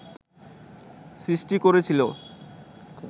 সৃষ্টি করেছিল